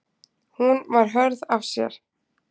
Hún var hörð af sér.